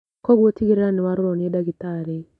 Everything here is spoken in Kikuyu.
Kwoguo tigĩrĩra nĩ warorwo nĩ ndagĩtarĩ